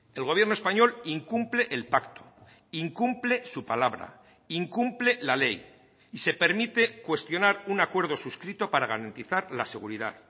el gobierno español incumple el pacto incumple su palabra incumple la ley y se permite cuestionar un acuerdo suscrito para garantizar la seguridad